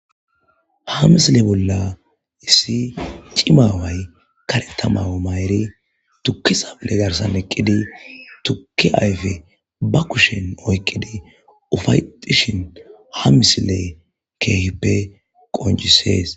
Ha misile bolla issi cimaaway kare tamawu mayri tukki sable garsan eqqidi tukki ayfe ba kushen oykqidi ufaytishin ha misile keehippe qoncisees.